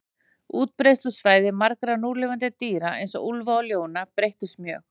Útbreiðslusvæði margra núlifandi dýra, eins og úlfa og ljóna, breyttust mjög.